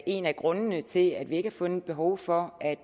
en af grundene til at vi ikke har fundet behov for at